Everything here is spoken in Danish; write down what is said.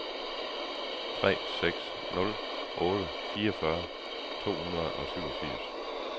tre seks nul otte fireogfyrre to hundrede og syvogfirs